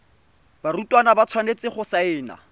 barutwana ba tshwanetse go saena